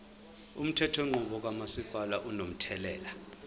umthethonqubo kamasipala unomthelela